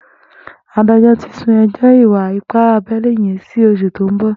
Àdájọ̀ ti sùn ẹjọ ìwà ìpá àbẹlé yèn si óṣú tó n bọ